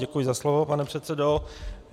Děkuji za slovo, pane předsedo.